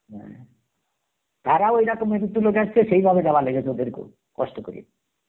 হম তারাও ঐরকম কিছু লোক আসছে, সেই ভাবে ওদের কেও, কষ্ট করে